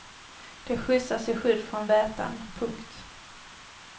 De skjutsas i skydd från vätan. punkt